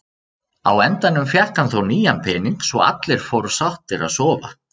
Á endanum fékk hann þó nýjan pening svo allir fóru sáttir að sofa.